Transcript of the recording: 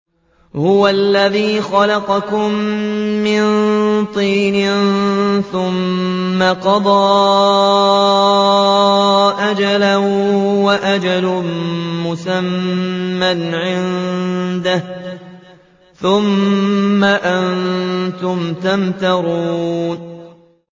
هُوَ الَّذِي خَلَقَكُم مِّن طِينٍ ثُمَّ قَضَىٰ أَجَلًا ۖ وَأَجَلٌ مُّسَمًّى عِندَهُ ۖ ثُمَّ أَنتُمْ تَمْتَرُونَ